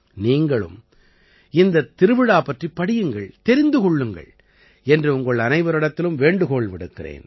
நீங்களும் இந்தத் திருவிழா பற்றிப் படியுங்கள் தெரிந்து கொள்ளுங்கள் என்று உங்கள் அனைவரிடத்திலும் வேண்டுகோள் விடுக்கிறேன்